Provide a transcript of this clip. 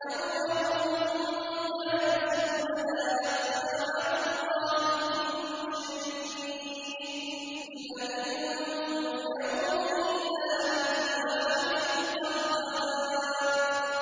يَوْمَ هُم بَارِزُونَ ۖ لَا يَخْفَىٰ عَلَى اللَّهِ مِنْهُمْ شَيْءٌ ۚ لِّمَنِ الْمُلْكُ الْيَوْمَ ۖ لِلَّهِ الْوَاحِدِ الْقَهَّارِ